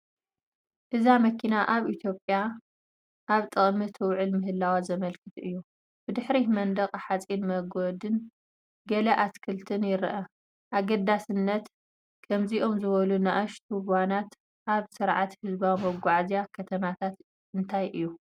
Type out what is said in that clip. እዛ መኪና ኣብ ኢትዮጵያ ኣብ ጥቕሚ ትውዕል ምህላዋ ዘመልክት እዩ። ብድሕሪት መንደቕ ሓጺን ሞገድን ገለ ኣትክልትን ይርአ። ኣገዳስነት ከምዚኦም ዝበሉ ንኣሽቱ ቫናት ኣብ ስርዓታት ህዝባዊ መጓዓዝያ ከተማታት እንታይ እዩ?